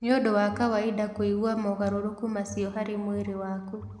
Nĩ ũndũ wa kawainda kũigua mogarũrũku macio harĩ mwĩrĩ waku.